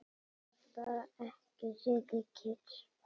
Gat bara ekki setið kyrr.